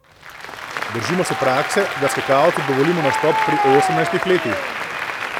Držimo se prakse, da skakalcu dovolimo nastop pri osemnajstih letih.